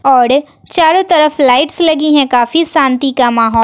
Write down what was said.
औड़ चारों तरफ लाइट्स लगी हैं काफी शांति का माहौ--